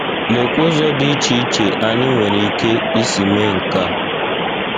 Lekwa ụzọ dị iche iche anyị nwere ike isi mee nke a.